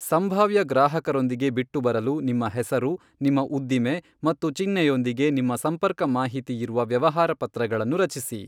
ಸಂಭಾವ್ಯ ಗ್ರಾಹಕರೊಂದಿಗೆ ಬಿಟ್ಟುಬರಲು ನಿಮ್ಮ ಹೆಸರು, ನಿಮ್ಮ ಉದ್ದಿಮೆ ಮತ್ತು ಚಿಹ್ನೆಯೊಂದಿಗೆ ನಿಮ್ಮ ಸಂಪರ್ಕ ಮಾಹಿತಿಯಿರುವ ವ್ಯವಹಾರಪತ್ರಗಳನ್ನು ರಚಿಸಿ.